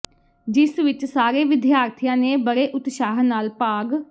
ਜਿਸ ਵਿਚ ਸਾਰੇ ਵਿਦਿਆਰਥੀਆਂ ਨੇ ਬੜੇ ਉਤਸ਼ਾਹ ਨਾਲ ਭਾਗ